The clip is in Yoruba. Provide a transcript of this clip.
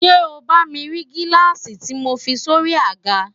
ṣé o bá mi rí gíláàsì tí mo fi sórí i àga?